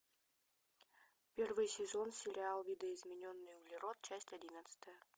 первый сезон сериал видоизмененный углерод часть одиннадцатая